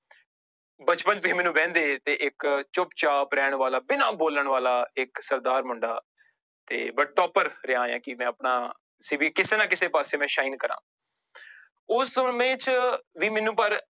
ਬਚਪਨ ਵੀ ਮੈਨੂੰ ਵਹਿੰਦੇ ਤੇ ਇੱਕ ਚੁੱਪ ਚਾਪ ਰਹਿਣ ਵਾਲਾ ਬਿਨਾਂ ਬੋਲਣ ਵਾਲਾ ਇੱਕ ਸਰਦਾਰ ਮੁੰਡਾ ਤੇ but topper ਰਿਹਾਂ ਹੈ ਕਿ ਮੈਂ ਆਪਣਾ ਸੀ ਵੀ ਕਿਸੇ ਨਾ ਕਿਸੇ ਪਾਸੇ ਮੈਂ shine ਕਰਾਂ ਉਸ ਉਮੀਦ ਚ ਵੀ ਮੈਨੂੰ ਪਰ